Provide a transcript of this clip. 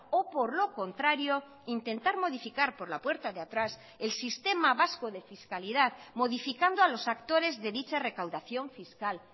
o por lo contrario intentar modificar por la puerta de atrás el sistema vasco de fiscalidad modificando a los actores de dicha recaudación fiscal